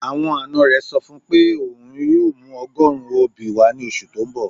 Awọn ańa rẹ sọ fun pe ọun yoo mù ọgọ̀run obi wa ni oṣù tó n bọ̀